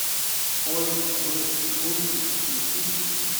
ой вы гуси включи